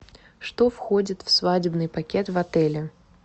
что входит в свадебный пакет в отеле